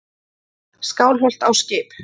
Skálholt á skip.